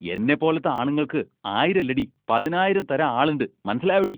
എന്നെപ്പോലത്തെ ആണുങ്ങൾക്ക് ആയിരം അല്ലെടീ പതിനായിരം തരാൻ ആളെണ്ട് മനസ്സിലായോടീ?